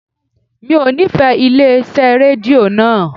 Mi ò nífẹ̀ẹ́ ilé iṣẹ́ rédíò naa